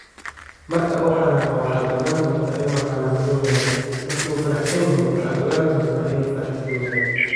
“Marka uu xanaaqo, waxaad ogaan doontaa inuu xanaaqsan yahay; marka uu faraxsanyahay, waxaad ogaan doontaa inuu faraxsanyahay.”